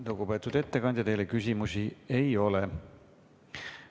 Lugupeetud ettekandja, teile küsimusi ei ole.